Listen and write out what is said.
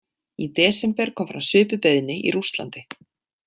Í desember kom fram svipuð beiðni í Rússlandi.